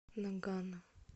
нагано